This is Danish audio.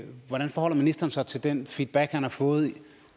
hvordan forholder ministeren sig til den feedback han har fået